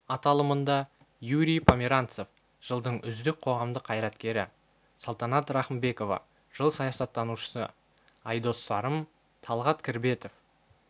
аталымында юрий померанцев жылдың үздік қоғамдық қайраткері салтанат рахымбекова жыл саясаттанушысы айдос сарым талғат кірбетов